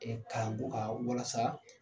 kalan ko kan walasa